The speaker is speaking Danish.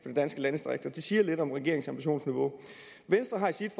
de danske landdistrikter det siger lidt om regeringens ambitionsniveau venstre har i sit